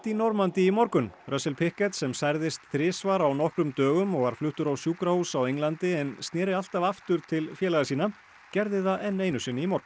Normandí í morgun russell Pickett sem særðist þrisvar á nokkrum dögum og var fluttur á sjúkrahús á Englandi en sneri alltaf aftur til félaga sinna gerði það enn einu sinni í morgun